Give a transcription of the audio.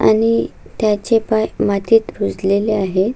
आणि त्याचे पाय मातीत रुजलेले आहे.